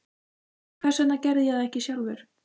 Hvers vegna ég gerði það ekki sjálfur?